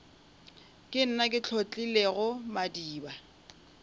ke nna ke hlotlilego madiba